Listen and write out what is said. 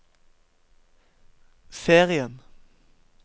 serien